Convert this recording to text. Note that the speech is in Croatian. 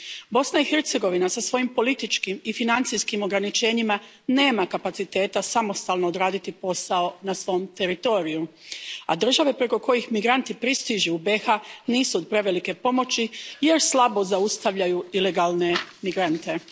Bosna i Hercegovina sa svojim političkim i financijskim ograničenjima nema kapaciteta samostalno odraditi posao na svom teritoriju, a države preko kojih migranti pristižu u BIH nisu od prevelike pomoći jer slabo zaustavljaju ilegalne migrante.